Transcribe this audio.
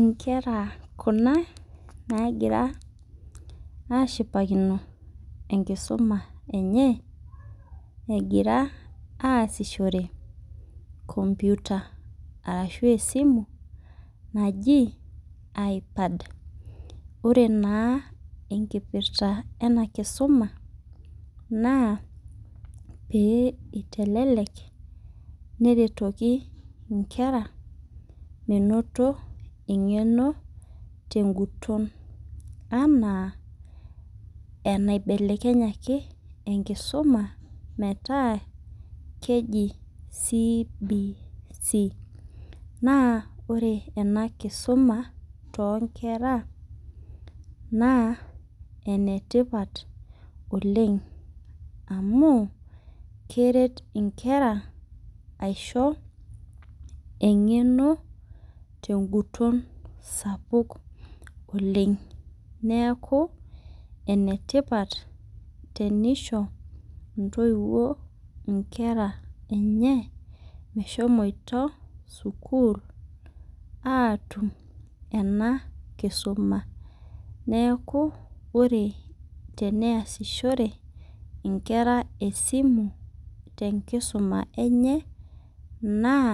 Inkera kuna nagira ashipakino enkisuma enye egira asishore computer arashu esimu naji ipad ore naa enkipirta ena kisumaa naa pee itelelek neretoki inkera menoto eng'eno teguton anaa enaibelekenyaki enkisuma meetaa keji CBC. Naa ore ena kisuma too inkera naa enetipat oleng' amu keret inkera aisho eng'eno teguton sapuk oleng'. Neeku ene tipat tenisho intowuo inkera enye meshomoito sukul atum ena kisuma. Neeku ore tenayasishore inkera esimu tenkisuma enye naa